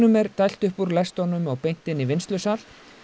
er dælt upp úr lestunum og beint inn í vinnslusal